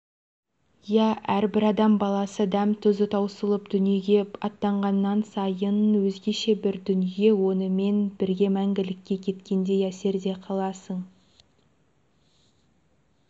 иә әрбір адам баласы дәм-тұзы таусылып дүниеге атанғаннан сайын өзгеше бір дүние онымен бірге мәңгілікке кеткендей әсерде қаласың